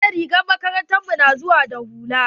Eh rigar makarantar mu na zuwa da hula.